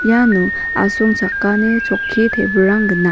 iano asongchakani chokki table-rang gnang.